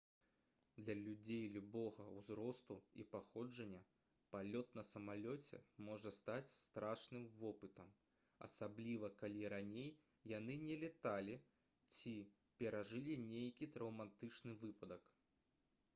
для людзей любога ўзросту і паходжання палёт на самалёце можа стаць страшным вопытам асабліва калі раней яны не лёталі ці перажылі нейкі траўматычны выпадак